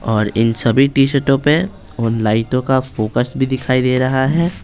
और इन सभी टी-शर्टों पे उन लाइटों का फोकस भी दिखाई दे रहा है।